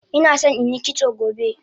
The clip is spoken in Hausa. Inason inyi kitso gobe